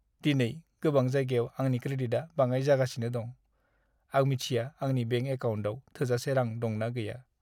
दिनै गोबां जायगायाव आंनि क्रेडिटआ बाङाइ जागासिनो दं। आं मिथिया आंनि बेंक एकाउन्टाव थोजासे रां दंना गैया।